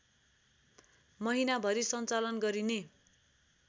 महिनाभरि सञ्चालन गरिने